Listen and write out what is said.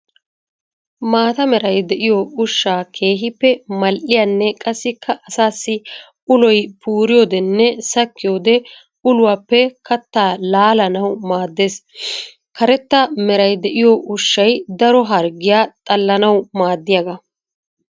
Maata meray de'iyo ushshay keehippe mal'iyaane qassikka asaassi uloy puuriyoodenne sakkiyoode uluwaappe katta laallanawu maadees. Karetta meray de'iyo ushshay daro harggiya xallanawu maadiyaaga.